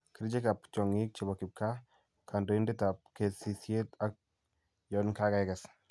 kerichekap tyong'ik chebo kipgaa .kandoindetap kesisyet ak yon kageges